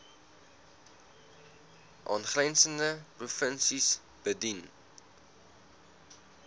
aangrensende provinsies bedien